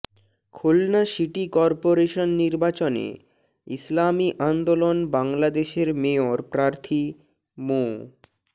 Khulna city corporation নির্বাচনে ইসলামী আন্দোলন বাংলাদেশের mayor প্রার্থী মো